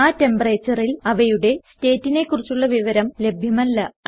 ആ temperatureൽ അവയുടെ സ്റ്റേറ്റിനെ കുറിച്ചുള്ള വിവരം ലഭ്യമല്ല